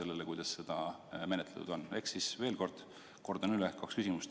Ehk siis veel kord, kordan üle kaks küsimust.